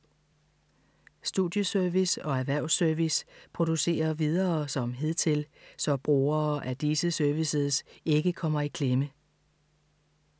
Studieservice og Erhvervs-service producerer videre som hidtil, så brugere af disse services ikke kommer i klemme.